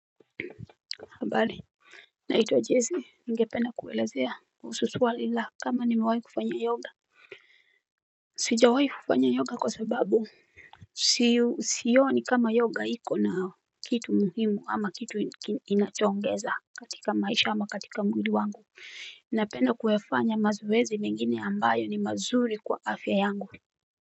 Habari naitwa jessi ningependa kuelezea kuhusu swali kama nimawai kufanya yoga sijawai kufanya yoga kwa sababu siyoni kama yoga iko na kitu muhimu ama kitu inachoongeza katika maisha ama katika mwili wangu napenda kuyafanya mazoezi mengine ambayo ni mazuri kwa afya yangu.